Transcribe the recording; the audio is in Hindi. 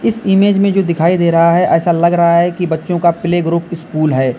इस इमेज में जो दिखाई दे रहा है ऐसा लग रहा है कि बच्चों का प्लेग्रुप स्कूल है।